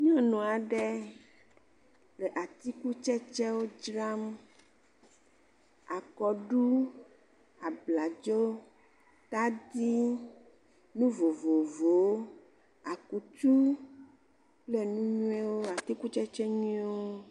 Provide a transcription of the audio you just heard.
Nyɔnu aɖe le atikutsɛtsɛ dram, akɔɖu, abladzo, taɖi, nu vovovowo, akutu kple nu nyuie. Atikutsɛtsɛ nyuie wo